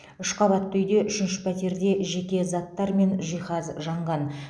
үш қабатты үйде үшінші пәтерде жеке заттар мен жиһаз жанған